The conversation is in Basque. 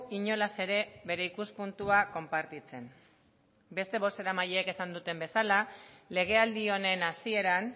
inolaz ere bere ikuspuntua konpartitzen beste bozeramaileek izan duten bezala legealdi honen hasieran